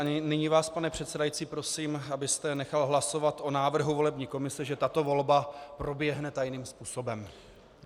A nyní vás, pane předsedající prosím, abyste nechal hlasovat o návrhu volební komise, že tato volba proběhne tajným způsobem.